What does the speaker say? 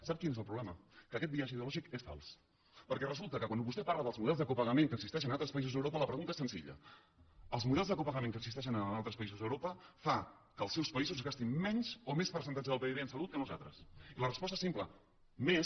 sap quin és el problema que aquest biaix ideològic és fals perquè resulta que quan vostè parla dels models de copagament que existeixen en altres països d’europa la pregunta és senzilla els models de copagament que existeixen en altres països d’europa fan que els seus països gastin menys o més percentatge del pib en salut que nosaltres i la resposta és simple més